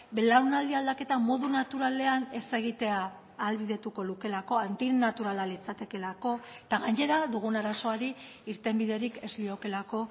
belaunaldi aldaketa modu naturalean ez egitea ahalbidetuko lukeelako antinaturala litzatekeelako eta gainera dugun arazoari irtenbiderik ez liokeelako